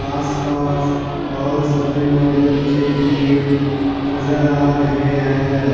आसपास बहुत सारे नारियल के पेड़ नजर आ रहे हैं।